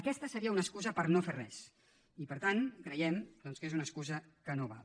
aquesta seria una excusa per no fer res i per tant creiem doncs que és una excusa que no val